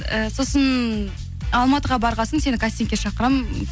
і сосын алматыға барған соң сені кастингке шақырамын